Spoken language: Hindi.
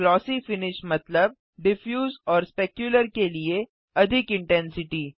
ग्लॉसी फिनिश मतलब डिफ्यूज और स्पेक्युलर के लिए अधिक इंटेंसिटी